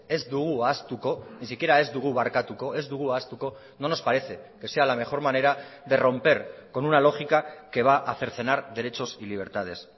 ez dugu ahaztuko ni siquiera ez dugu barkatuko ez dugu ahaztuko no nos parece que sea la mejor manera de romper con una lógica que va a cercenar derechos y libertades